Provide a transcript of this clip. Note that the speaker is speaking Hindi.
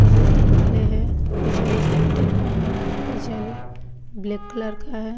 वो जो दीवाले हैं वो जाली-जाली टाइप में है। वो जाली ब्लैक कलर का है।